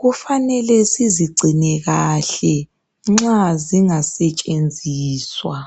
Kufanele sizigcine kahle nxa zingasetshenziswa.